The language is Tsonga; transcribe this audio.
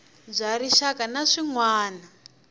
bya rixaka na swiana wana